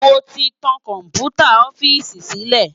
Mó ti tán kòmpútá òfìsí silé